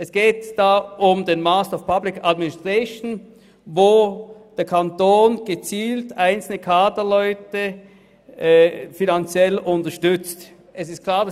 Es geht um den MPA, für dessen Erlangung einzelne Kaderleute vom Kanton gezielt finanziell unterstützt werden.